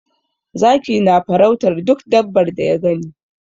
Zaki na farautar duk dabbar da ya gani.